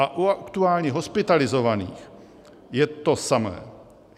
A u aktuálně hospitalizovaných je to samé.